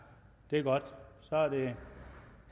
det er godt så er det